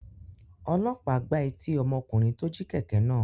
Ọlọ́pàá gbá etí ọmọkùnrin tó jí kẹ̀kẹ́ náà.